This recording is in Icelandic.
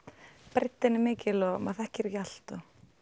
breiddin er mikil og maður þekkir ekki allt